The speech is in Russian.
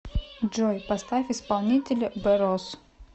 джой поставь исполнителя бэ росс